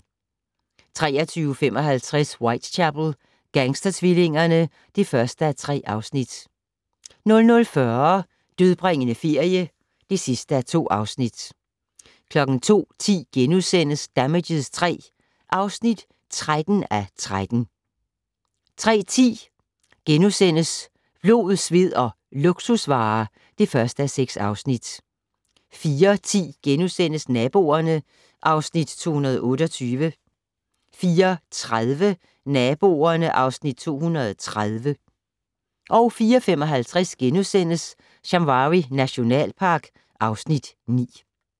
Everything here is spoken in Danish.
23:55: Whitechapel: Gangstertvillingerne (1:3) 00:40: Dødbringende ferie (2:2) 02:10: Damages III (13:13)* 03:10: Blod, sved og luksusvarer (1:6)* 04:10: Naboerne (Afs. 228)* 04:30: Naboerne (Afs. 230) 04:55: Shamwari nationalpark (Afs. 9)*